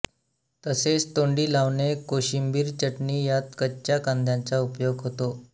तसेच तोंडी लावणे कोशिंबीर चटणी यात कच्च्या कांद्याचा उपयोग होतो